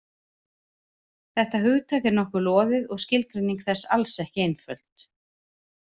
Þetta hugtak er nokkuð loðið og skilgreining þess alls ekki einföld.